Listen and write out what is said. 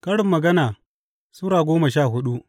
Karin Magana Sura goma sha hudu